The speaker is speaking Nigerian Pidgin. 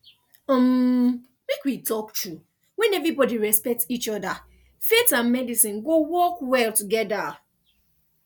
umm make we talk true when everybody respect each other faith and medicine go work well together